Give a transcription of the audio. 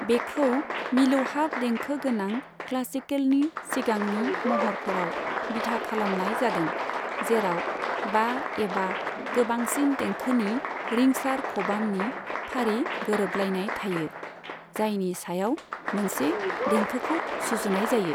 बेखौ मिलौहाब देंखो गोनां क्लासिकेलनि सिगांनि महरफोराव बिथा खालामनाय जादों, जेराव बा एबा गोबांसिन देंखोनि रिंसार खबामनि फारि गोरोबलायनाय थायो, जायनि सायाव मोनसे देंखोखौ सुजुनाय जायो।